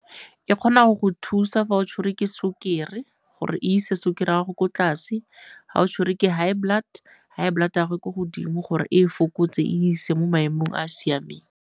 E kgona go go thusa fa o tshwerwe ke sukiri gore e ise sukiri ya gago ko tlase, ga o tshwere ke high blood, high blood ya gago e ko godimo gore e e fokotse e e ise mo maemong a a siameng.